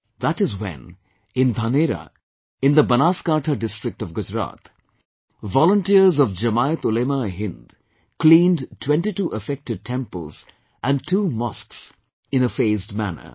That is when, in Dhanera in the Banaskantha District of Gujarat, volunteers of JamiatUlemaeHind cleaned twentytwo affected temples and two mosques in a phased manner